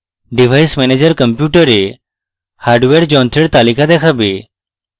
device manager কম্পিউটারে hardware যন্ত্রের তালিকা দেখাবে